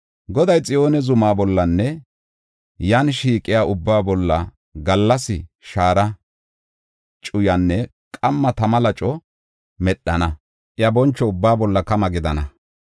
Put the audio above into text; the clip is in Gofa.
Goday Xiyoone zumaa bollanne yan shiiqiya ubbaa bolla gallas shaara cuyanne qamma tama laco medhana; iya boncho ubbaa bolla kama gidana.